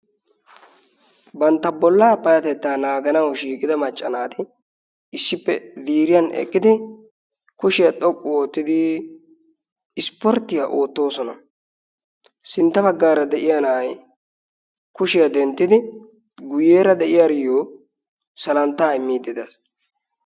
bantta bollaa payatetta naaganawu shiiqida maccanaati issippe ziriyan eqqidi kushiyaa xoqqu oottidi ispporttiyaa oottoosona sintta baggaara de7iya na7ai kushiyaa denttidi guyyeera de7iyaaryyo salanttaa immiiddi des.